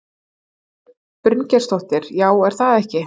Ingibjörg Bryngeirsdóttir: Já, er það ekki?